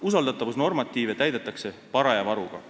Usaldatavusnormatiive täidetakse paraja varuga.